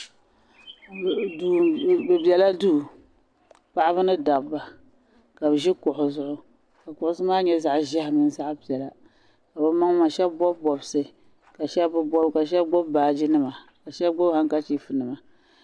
Bi bela duu paɣaba ni dabba ka ʒi kuɣhi zuɣu ka kuɣhi maa nyɛ zaɣa ʒiɛhi mini zaɣa piɛlla ka maŋmaŋa shaba bɔbi bɔbsi ka shaba bi bɔbi ka shaba gbubi baaji nima ka shaba gbubi hankachiifu nima.